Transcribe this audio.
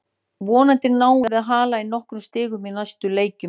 Vonandi náum við að hala inn nokkrum stigum í næstu leikjum.